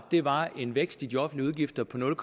var en vækst i de offentlige udgifter på nul